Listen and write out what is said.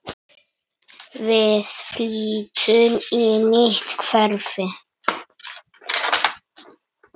Við flytjum í nýtt hverfi.